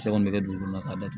Sɛ kɔni bɛ kɛ dugukolo la ka dat